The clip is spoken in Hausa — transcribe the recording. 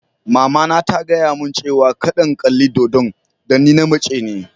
Mama na ta gaya mun cewa kadda n'kalli dodo'n dan ni na mace ne.